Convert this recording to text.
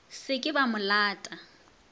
se ke ba mo lata